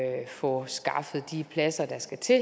få skaffet de pladser der skal til